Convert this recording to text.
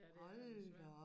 Ja det er den desværre